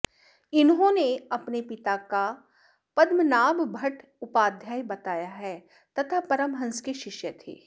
इन्होंने अपने पिता का पद्मनाभ भट्ट उपाध्याय बताया है तथा परमहंस के शिष्य थे